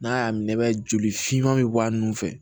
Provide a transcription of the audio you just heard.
N'a y'a minɛ i b'a joli finman bɛ bɔ a nun fɛ